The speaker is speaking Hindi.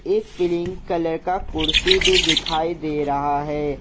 एक क्रीम कलर का कुर्सी भी दिखाई दे रहा है।